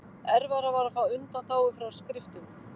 Erfiðara var að fá undanþágu frá skriftum.